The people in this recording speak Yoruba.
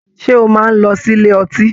Ṣe o máa n lọ sílé ọtí?